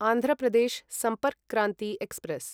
Andhra Pradesh Sampark Kranti express